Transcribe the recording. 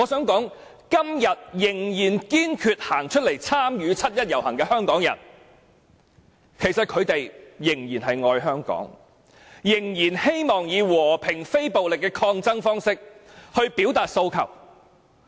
今天仍然堅決站出來參與七一遊行的香港人仍然愛香港，仍然希望以和平非暴力的抗爭方式表達訴求。